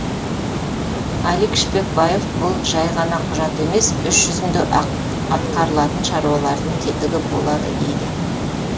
алик шпекбаев бұл жай ғана құжат емес іс жүзінде атқарылатын шаруалардың тетігі болады дейді